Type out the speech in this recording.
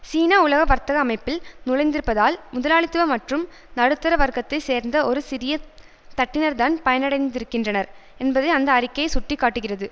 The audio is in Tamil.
சீனா உலக வர்த்தக அமைப்பில் நுழைந்திருப்பதால் முதலாளித்துவ மற்றும் நடுத்தர வர்க்கத்தை சேர்ந்த ஒரு சிறிய தட்டினர்தான் பயனடைந்திருக்கின்றனர் என்பதை அந்த அறிக்கை சுட்டி காட்டுகிறது